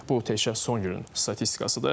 Bu təkcə son günün statistikasıdır.